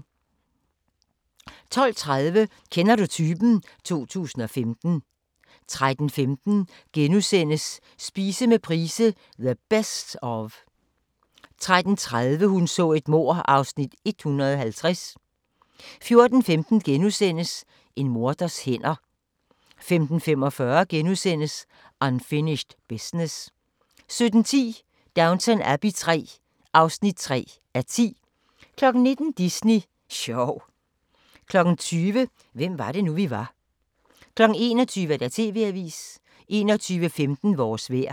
12:30: Kender du typen? 2015 13:15: Spise med Price - "The Best Of" * 13:30: Hun så et mord (Afs. 150) 14:15: En morders hænder * 15:45: Unfinished Business * 17:10: Downton Abbey III (3:10) 19:00: Disney sjov 20:00: Hvem var det nu vi var 21:00: TV-avisen 21:15: Vores vejr